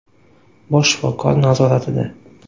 bosh shifokor nazoratida.